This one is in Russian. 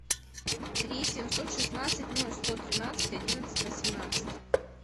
три семьсот шестнадцать ноль сто тринадцать одиннадцать восемнадцать